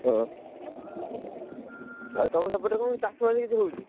ହଁ ଆଉ ତମ ସେପଟ ଚାଷ ବାସ କଣ କେମିତି ହଉଛି?